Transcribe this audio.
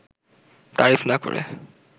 তারিফ না করে